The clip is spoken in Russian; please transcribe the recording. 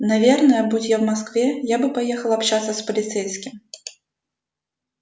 наверное будь я в москве я бы поехал общаться с полицейским